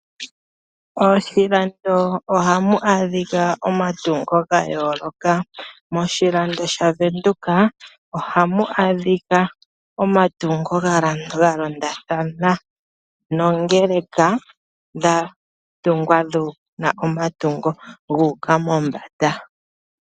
Moshilando ohamu adhika omatungo ga yooloka. Moshilando sha Venduka ohamu adhika omatungo ga londa thana nongeleka dha tungwa dhina omatungo gu uka mombanda.